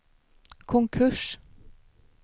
konkurs